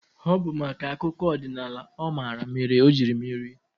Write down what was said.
Ọ bụ maka akụkọ ọdịnaala ọ mara mere o jiri merie.